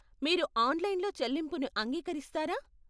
మీరు ఆన్లైన్లో చెల్లింపుని అంగీకరిస్తారా?